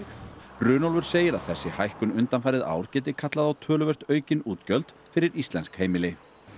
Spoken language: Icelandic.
Runólfur segir að þessi hækkun undanfarið ár geti kallað á töluvert aukin útgjöld fyrir íslensk heimili